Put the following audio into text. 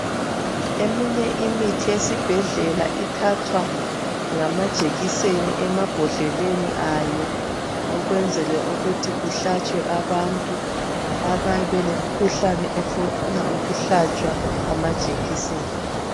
Eminye imithi esibhedlela ithathwa ngama jekiseni emabhodleleni ayo ukwenzela ukuthi kuhlatshwe abantu abayabe belemikhuhlane efuna ukuhlatshwa amajekiseni